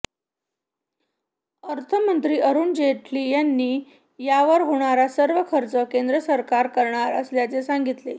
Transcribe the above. अर्थमंत्री अरुण जेटली यांनी यावर होणारा सर्व खर्च केंद्र सरकार करणार असल्याचे सांगितले